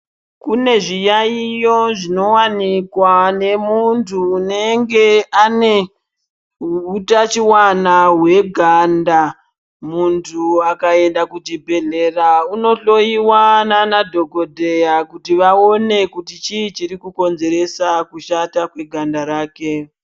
Kune zviyaiyo zvinowanikwa nemuntu unenge ane hutachiwana hweganda muntu akaenda kuchibhedhlera unohloyiwa nanadhokodheya kuti vaone kuti chii chiri kukonzeresa kushata kweganda rake.